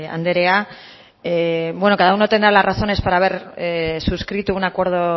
andrea bueno cada uno tendrá las razones para haber suscrito un acuerdo